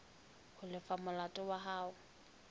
ho lefa molato wa hao